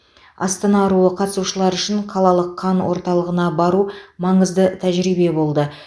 астана аруы қатысушылары үшін қалалық қан орталығына бару маңызды тәжірибе болды